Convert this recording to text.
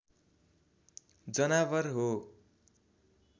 जनावर हो